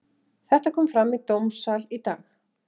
Þetta kom fram í dómssal í dag.